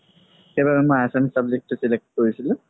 সেইবাবে মই assamese subject তো select কৰিছিলো